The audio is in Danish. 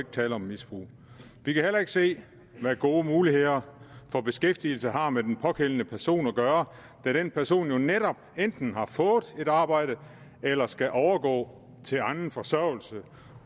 tale om misbrug vi kan heller ikke se hvad gode muligheder for beskæftigelse har med den pågældende person at gøre da den person jo netop enten har fået et arbejde eller skal overgå til anden forsørgelse